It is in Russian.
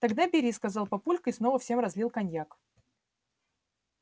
тогда бери сказал папулька и снова всем разлил коньяк